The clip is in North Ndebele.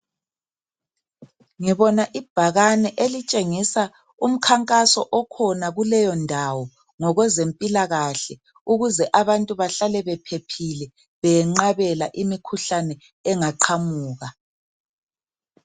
Ngibona ibhakane elitshengisa umkhankaso okhona kuleyondawo ngokwezempilakahle ukuze abantu bahlale bephephile beyenqabela imikhuhlane engaqhamuka